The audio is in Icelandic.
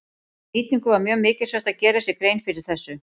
Við nýtingu var mjög mikilsvert að gera sér grein fyrir þessu.